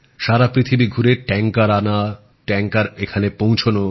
সারা পৃথিবী ঘুরে ট্যাংকার আনা ট্যাংকার এখানে পৌছনো